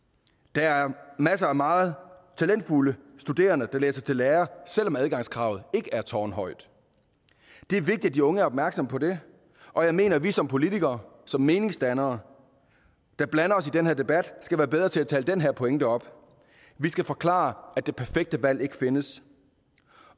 der er masser af meget talentfulde studerende der læser til lærer selv om adgangskravet ikke er tårnhøjt det er vigtigt at de unge er opmærksomme på det og jeg mener at vi som politikere som meningsdannere der blander os i den her debat skal være bedre til at tale den her pointe op vi skal forklare at det perfekt valg ikke findes